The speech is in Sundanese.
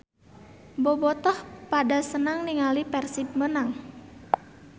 Bobotoh pada senang ninggali Persib menang